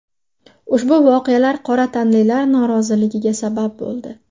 Ushbu voqealar qora tanlilar noroziligiga sabab bo‘ldi.